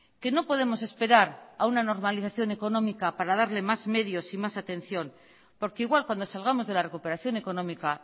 que no podemos esperar a una normalización económica para darle más medios y más atención porque igual cuando salgamos de la recuperación económica